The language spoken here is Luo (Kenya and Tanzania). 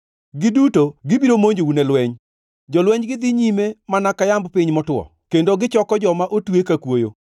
giduto gibiro monjou ne lweny. Jolwenjgi dhi nyime mana ka yamb piny motwo kendo gichoko joma otwe ka kwoyo.